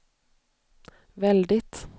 väldigt